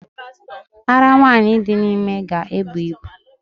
Ara nwanyị dị ime ga-ebu ibu